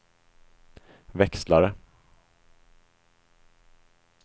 växlare